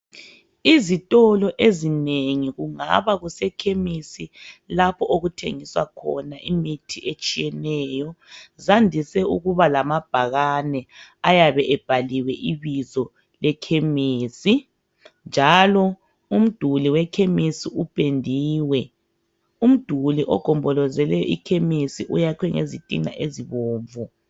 Izitolo ezinengi, kungaba kusekhemisi lapho okuthengiswa khona imithi etshiyeneyo, zandise ukuba lamabhakane ayabe ebhaliwe ibizo lekhemisi, njalo umduli wekhemesi upendiwe. Umduli ogombolozele ikhemisi uyakhwe ngezitina ezibomvu.